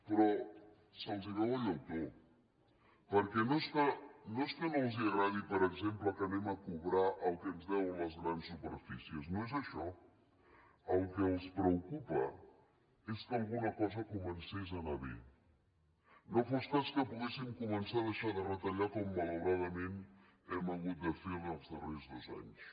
però se’ls veu el llautó perquè no és que no els agradi per exemple que anem a cobrar el que ens deuen les grans superfícies no és això el que els preocupa és que alguna cosa comencés a anar bé no fos cas que poguéssim començar a deixar de retallar com malauradament hem hagut de fer en els darrers dos anys